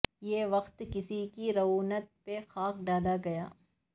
یہ وقت کسی کی رعونت پہ خاک ڈال گیا